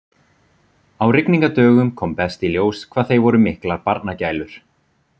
Á rigningardögum kom best í ljós hvað þeir voru miklar barnagælur.